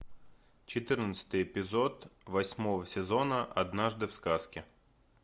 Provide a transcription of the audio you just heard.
четырнадцатый эпизод восьмого сезона однажды в сказке